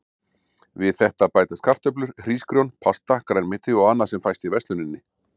Við þetta bætast kartöflur, hrísgrjón, pasta, grænmeti og annað sem fæst í versluninni.